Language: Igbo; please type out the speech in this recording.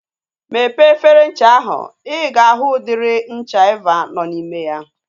Mepee efere ncha ahu. I ga ahụ udiri ncha Eva nọ n'ime ya.